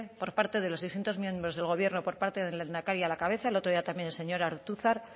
por parte de los distintos miembros del gobierno por parte del lehendakari a la cabeza el otro día también el señor ortuzar